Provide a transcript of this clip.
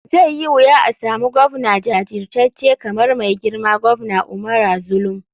Zai yi wuya asamu govna jajircace kamar mai girma govna umara zulum.